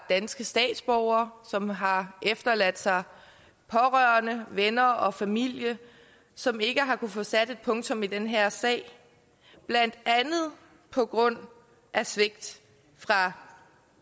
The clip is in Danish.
danske statsborgere som har efterladt sig pårørende venner og familie som ikke har kunnet få sat et punktum i den her sag blandt andet på grund af svigt fra